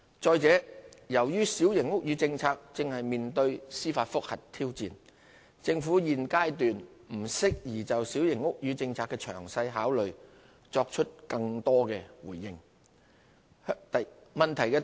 再者，由於小型屋宇政策正面對司法覆核挑戰，政府現階段不適宜就小型屋宇政策的詳細考慮作出更多回應。